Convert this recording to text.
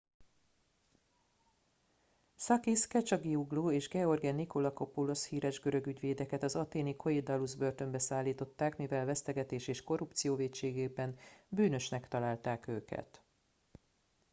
sakis kechagioglou és george nikolakopoulos híres görög ügyvédeket az athéni korydallus börtönbe szállították mivel vesztegetés és korrupció vétségében bűnösnek találták őket